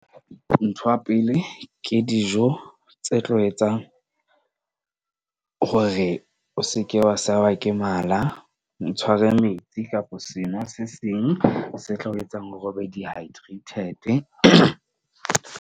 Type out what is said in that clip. Ntho ya pele ke dijo tse tlo etsang hore o seke wa sewa ke mala. Ntshware metsi kapa seno se seng se tlo etsang o be dehydrated.